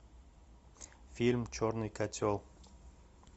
фильм черный котел